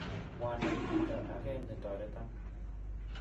mwanai chito age ne toreton.